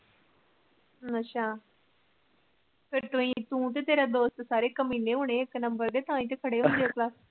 ਅੱਛਾ ਫਿਰ ਤੂੰ ਤੇ ਤੇਰੇ ਦੋਸਤ ਸਾਰੇ ਕਮੀਨੇ ਹੋਣੇ ਇੱਕ ਨੰਬਰ ਦੇ ਤਾਹੇ ਤਾ ਖੜੇ